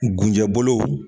Gunjɛ bolo.